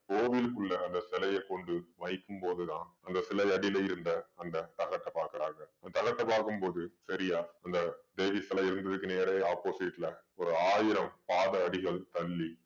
கோவிலுக்குள்ள அந்த சிலய கொண்டு வைக்கும்போதுதான் அந்த சிலை அடியில இருந்த அந்த தகட்ட பாக்குறாங்க அந்த தகட்ட பாக்கும் போது சரியா அந்த தேவி சிலை இருந்ததுக்கு நேரே opposite ல ஒரு ஆயிரம் பாத அடிகள் தள்ளி